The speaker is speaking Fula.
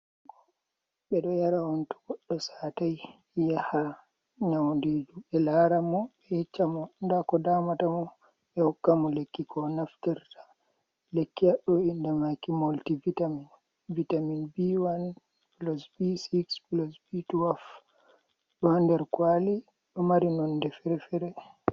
Be ɗo yara on tu goɗɗo satai. ya ha nyauɗiju be lara mo be yecca mo ɗa ko ɗamata mo. Be hokkamo lekki ko naftirta. Lekki haɗɗo inɗe maki molti vitamin. Vitamin biwai, pulus bisnis, pulus bi tuwaf. Ɗo ha nɗer kwali, ɗo mari nonɗe fre-fere.